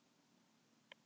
Það er puð.